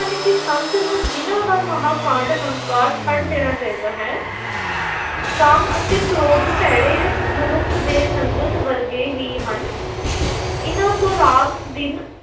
ਹਨ ਕਿ ਸੰਤ ਨੂੰ ਹੰਕਾਰ ਛੱਡ ਦੇਣਾ ਚਾਹੀਦਾ ਹੈ ਕਾਮ ਅਤੇ ਕ੍ਰੋਧ ਭੈੜੇ ਮਨੁੱਖ ਦੇ ਸੰਗਤ ਵਰਗੇ ਹੀ ਹਨ l ਇਹਨਾ ਤੋਂ ਰਾਤ ਦਿਨ